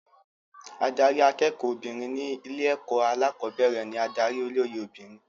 Adarí akẹ́kọ̀ọ́ obìnrin ní ilé-ẹ̀kọ́ alẹ́kọ̀ọ́bẹ̀rẹ̀ ní adarí olóyè obìnrin.